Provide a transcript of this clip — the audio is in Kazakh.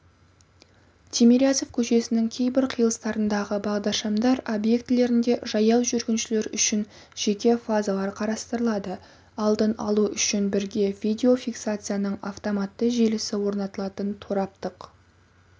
тимирязев көшесінің кейбір қиылыстарындағы бағдаршамдар объектілерінде жаяу жүргіншілер үшін жеке фазалар қарастырылады алдын алу үшін бірге видеофиксацияның автоматты желісі орнатылатын тораптық